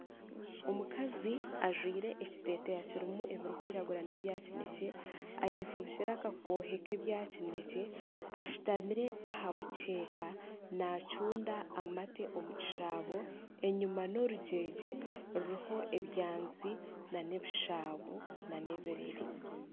Omukazi ajwire ekiteteya ebirikwiragura n'ebya kinekye, eyefubikire akakoohe k'ebyakineekye, ashutamire aha mukyeka naacunda amate omu kishaabo, enyima n'orugyegye ruriho ebyanzi, n'ebishaaba nana ebirere